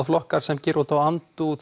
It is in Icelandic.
flokkar sem gera út á andúð